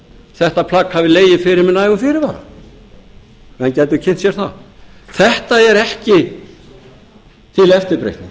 þetta plagg hafi legið fyrir með nægum fyrirvara menn gætu kynnt sér það þetta er ekki til eftirbreytni